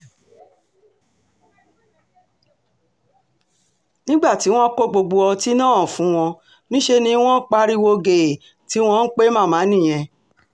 nígbà tí wọ́n kó gbogbo ọtí náà fún wọn níṣẹ́ ni wọ́n pariwo gèè tí wọ́n ń pe màmá nìyẹn